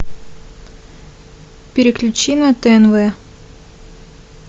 переключи на тнв